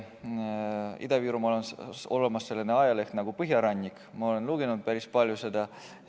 Ida-Virumaal on olemas selline ajaleht nagu Põhjarannik, ma olen seda päris palju lugenud.